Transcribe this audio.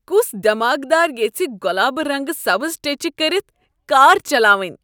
كُس دیماغدار ییژھہِ گۄلابہٕ رنگہٕ سبز ٹیچہِ كٔرِتھ كار چلاوٕنۍ؟